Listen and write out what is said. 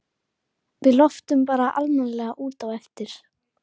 Við loftum bara almennilega út á eftir.